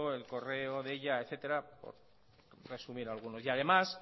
el correo deia etcétera por resumir algunos además